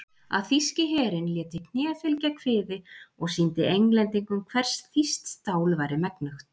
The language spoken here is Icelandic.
Að þýski herinn léti kné fylgja kviði og sýndi Englendingum hvers þýskt stál væri megnugt.